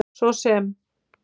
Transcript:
svo sem